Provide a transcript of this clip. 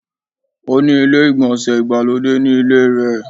Ó ni ilé-ìgbọ̀nsẹ̀ ìgbàlódé ni ilé rẹ